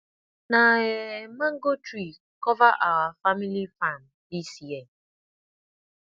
na um mango tree cover our family farm this year